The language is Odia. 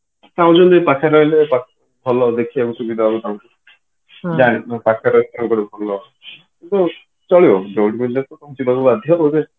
କଥା ହଉଛି ପାଖରେ ରହିଲେ ଭଲ ଦେଖିବାକୁ ସୁବିଧା ହବ ତାଙ୍କୁ ପାଖରେ ରହିଲେ ଭଲ ଚଳିବ ଯୋଉଠି ମିଳିଲେ ତ ତମକୁ ଯିବାକୁ ବାଧ୍ୟ ଆଉ